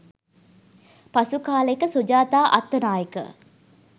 පසු කලෙක සුජාතා අත්තනායක